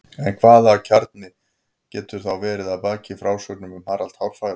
En hvaða kjarni getur þá verið að baki frásögnum um Harald hárfagra?